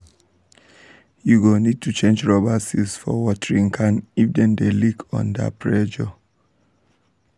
you go need to change rubber seals for watering cans if dem dey leak under pressure.